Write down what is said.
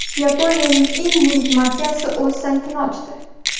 Yaponiyaning eng yirik mafiyasi o‘z saytini ochdi.